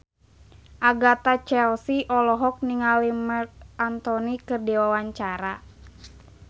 Agatha Chelsea olohok ningali Marc Anthony keur diwawancara